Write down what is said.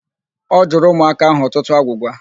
Ọ jụrụ ụmụaka ahụ ọtụtụ agwụgwa.